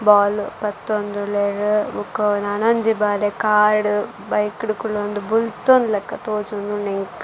ಬೋಲ್ ಪತ್ತೊಂದುಲ್ಲೆರ್ ಬೊಕ ನನೊಂಜಿ ಬಾಲೆ ಕಾರ್ ಡ್ ಬೈಕ್ ಡು ಕುಲ್ಲೊಂದು ಬುಲ್ತೊನ್ಲಕ ತೋಜೊಂದುಂಡು ಎಂಕ್.